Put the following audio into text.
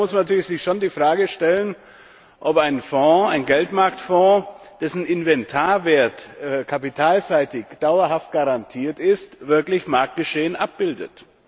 Da muss man sich natürlich schon die Frage stellen, ob ein Fonds ein Geldmarktfonds dessen Inventarwert kapitalseitig dauerhaft garantiert ist, wirklich Marktgeschehen abbildet.